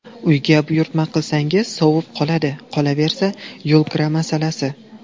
Uyga buyurtma qilsangiz sovib qoladi, qolaversa, yo‘lkira masalasi.